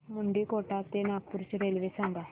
मुंडीकोटा ते नागपूर ची रेल्वे सांगा